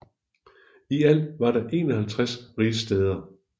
I alt var der 51 rigsstæder